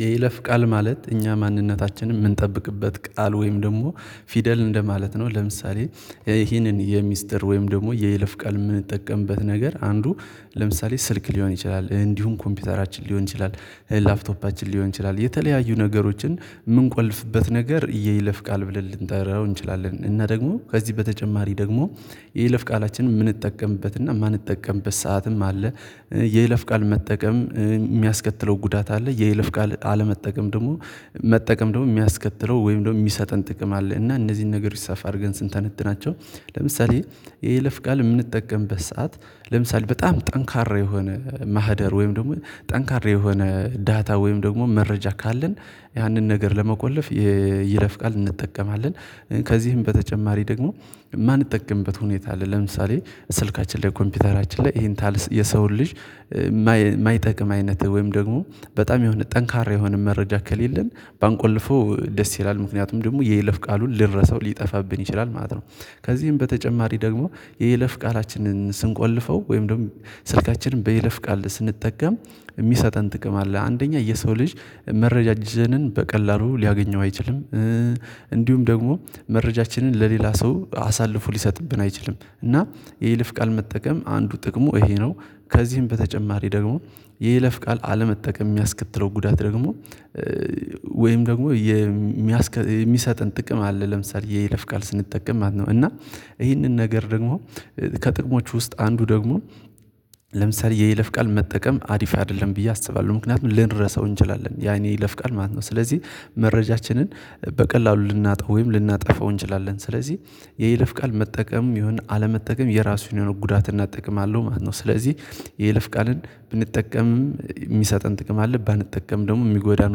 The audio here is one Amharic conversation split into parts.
የይለፍ ቃል ማለት እኛ ማንነታችንን የምንጠብቅበት ቃል ወይም ደግሞ ፊደል እንደማለት ነው። ለምሳሌ ይሄንን የሚስጥር ወይም ደግሞ የይለፍ ቃል የምንጠቀምበት ነገር አንዱ ለምሳሌ ስልክ ሊሆን ይችላል እንዲሁም ኮምፒውተራችን ሊሆን ይችላል ላብቶፓችን ሊሆን ይችላል የተለያዩ ነገሮችን የምንቆልፍበት ነገር የይለፍ ቃል ብለን ልንጠራው እንችላለን እና ደግሞ ከዚህ በተጨማሪ ደግሞ የይለፍ ቃላችንን የምንጠቀምበት እና የማንጠቀምበት ሰዓትም አለ። የይለፍ ቃል መጠቀም የሚያስከትለው ጉዳት አለ የይልፍ ቃል አለመጠቀም ደግሞ መጠቀም ደግሞ የሚያስከትለው ወይም ደግሞ የሚሰጠን ጥቅም አለ። እና እነዚህን ነገሮች ሰፋ አድርገን ስንተነትናቸው ለምሳሌ የይለፍ ቃል የምንጠቀምበት ሰዓት ለምሳሌ በጣም ጠንካራ የሆነ ማህደር ወይም ደግሞ ጠንካራ የሆነ ዳታ ወይም ደግሞ መረጃ ካለን ያንን ነገር ለመቆለፍ የይለፍቃል እንጠቀማለን። ከዚህም በተጨማሪ ደግሞ የማንጠቀምበት ሁኔታ ለምሳሌ ስልካችን ላይ ኮምፒውተራችን ላይ ይሄን የሰውን ልጅ የማይጠቅም አይነት ወይም ደግሞ በጣም የሆነ ጠንካራ የሆነ መረጃ ከሌለን ባንቆልፈው ደስ ይላል ምክንያቱም ደግሞ የይለፍ ቃሉን ልረሳው ሊጠፋብኝ ይችላል ማለት ነው። ከዚህም በተጨማሪ ደግሞ የየለፍ ቃላችንን ስንቆልፈው ወይም ደግሞ ስልካችንን በይለፍ ቃል ስንጠቀም የሚሰጠን ጥቅም አለ አንደኛ የሰው ልጅ መረጃችንን በቀላሉ ሊያገኘው አይችልም። እንዲሁም ደግሞ መረጃችንን ለሌላ ሰው አሳልፎ ሊሰጥብን አይችልም እና የይልፍ ቃል መጠቀም አንዱ ጥቅሙ ይሄ ነው። ከዚህም በተጨማሪ ደግሞ የይለፍ ቃል አለመጠቀም የሚያስከትለው ጉዳት ደግሞ ወይም ደግሞ የሚሰጥን ጥቅም አለ። ለምሳሌ የይለፍ ቃል ስንጠቀም ማለት ነው እና ይህንን ነገር ደግሞ ከጥቅሞች ውስጥ አንዱ ደግሞ የይለፍ ቃል መጠቀም አሪፍ አይደለም ብዬ አስባለሁ ምክንያቱም ልንረሳው እንችላለን ያን የይለፍቃል ማለት ነው። ስለዚህ መረጃችንን በቀላሉ ልናጣ ወይም ልናጠፋው እንችላለን ስለዚህ የይልፍ ቃል መጠቀም ይሁን አለመጠቀም የራሱን የሆነ ጉዳት እና ጥቅም አለው ማለት ነው። ስለዚህ የልፍ ቃልን ብንጠቀምም የሚሰጠን ጥቅም አለ ባንጠቀም ደግሞ የሚጎዳን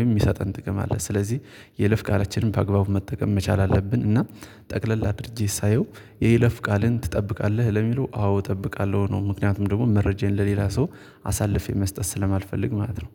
ወይም የሚሰጠን ጥቅም አለ ስለዚህ የይለፍ ቃላችንን በአግባቡ መጠቀም መቻል አለብን። እና ጠቅለል አድርጌ ሳየው የይለፍ ቃልን ትጠብቃለህ ለሚለው አዎ እጠብቃለሁ ነው። ምክንያቱም ደግሞ መረጃዬን ለሌላ ሰው አሳልፌ መስጠት ስለማልፈልግ ማለት ነው